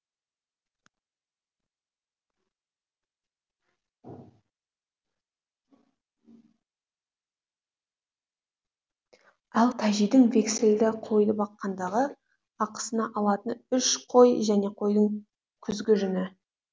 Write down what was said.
ал тәжидің вексілді қойды баққандағы ақысына алатыны үш қой және қойдың күзгі жүні